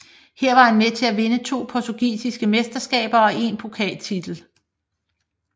Her var han med til at vinde to portugisiske mesteskaber og én pokaltitel